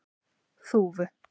Þúfu